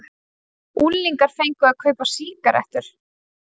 Unglingar fengu að kaupa sígarettur